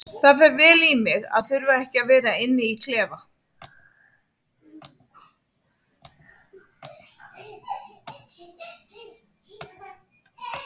Það fer vel í mig að þurfa ekki að vera inni í klefa.